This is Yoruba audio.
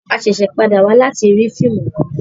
A ṣẹṣẹ pàdà wá láti rí fíìmù kán